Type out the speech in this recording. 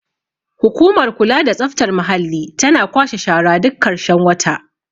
hukumar kula da tsaftar muhalli tana kwashe shara duk karshen wata